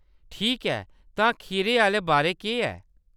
ठीक ऐ। तां खीरै आह्‌‌‌ले बारै केह्‌‌ ऐ?